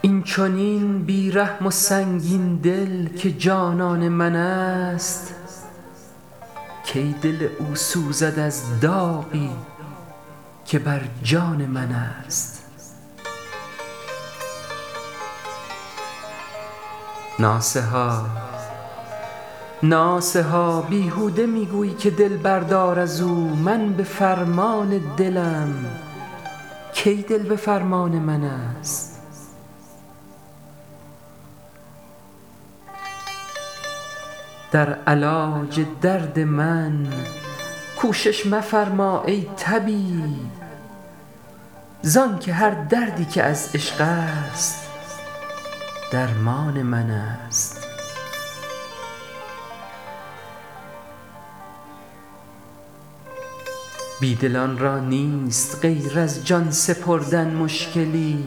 این چنین بیرحم و سنگین دل که جانان منست کی دل او سوزد از داغی که بر جان منست ناصحا بیهوده میگویی که دل بردار ازو من بفرمان دلم کی دل بفرمان منست در علاج درد من کوشش مفرما ای طبیب زانکه هر دردی که از عشقست درمان منست بیدلان را نیست غیر از جان سپردن مشکلی